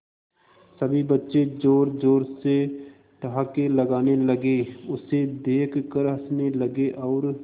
सभी बच्चे जोर जोर से ठहाके लगाने लगे उसे देख कर हंसने लगे और